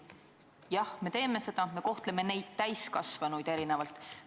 Jah, me teeme seda, me kohtleme neid täiskasvanuid erinevalt.